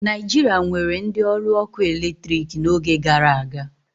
Naijiria nwere ndị ọrụ ọkụ eletrik n'oge gara aga